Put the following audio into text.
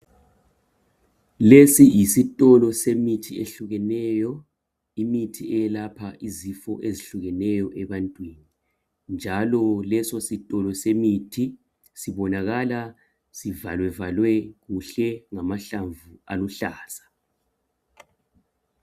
Lesi yisitolo semithi eyehlukeneyo imithi eyelapha izifo ezehlukeneyo ebantwini njalo lesi sitolo semithi sibonakala sivalavalwe kuhle ngamahlamvu aluhlaza